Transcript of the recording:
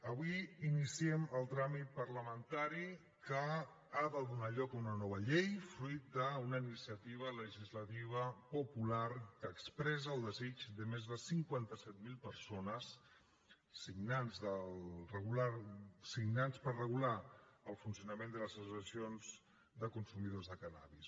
avui iniciem el tràmit parlamentari que ha de donar lloc a una nova llei fruit d’una iniciativa legislativa popular que expressa el desig de més de cinquanta set mil persones signants per regular el funcionament de les associacions de consumidors de cànnabis